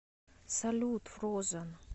салют фрозэн